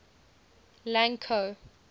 lang ko